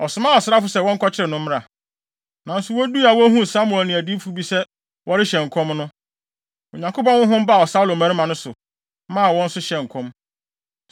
ɔsomaa asraafo sɛ wɔnkɔkyere no mmra. Nanso woduu a wohuu Samuel ne adiyifo bi sɛ wɔrehyɛ nkɔm no, Onyankopɔn honhom baa Saulo mmarima no so, maa wɔn nso hyɛɛ nkɔm.